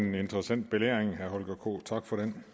en interessant belæring tak for den